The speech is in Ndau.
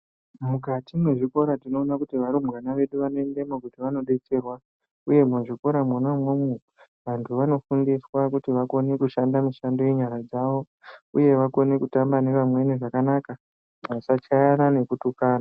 Mukati mezvikota tinoona kuti varumbwana vedu vanoendemo kuti vandodetserwa uye, muzvikora mwona umwomwo vantu vanofundiswa kuti vakone kushanda mishando yenyara dzavo uye vakone kutamba nevamweni vasachayana nekutukana.